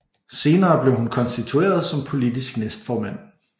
Senere blev hun konstitueret som politisk næstformand